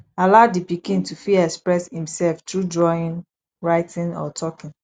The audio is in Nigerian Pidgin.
allow di pikin to fit express im self through drawing writing or talking